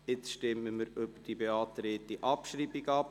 Nun stimmen wir über die beantragte Abschreibung ab.